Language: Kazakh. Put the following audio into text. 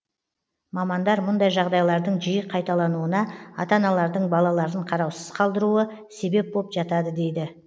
мамандар мұндай жағдайлардың жиі қайталануына ата аналардың балаларын қараусыз қалдыруы себеп боп жатады дейді